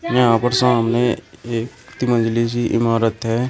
यहां पर सामने एक तीन मंज़िली सी इमारत है।